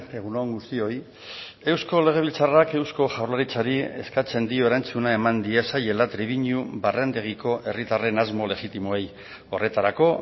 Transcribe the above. egun on guztioi eusko legebiltzarrak eusko jaurlaritzari eskatzen dio erantzuna eman diezaiela trebiñu barrendegiko herritarren asmo legitimoei horretarako